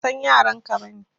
Ban san yaran ka ba ne.